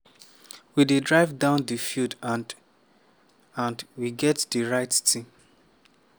we dey drive down di field and… and… we get di right team."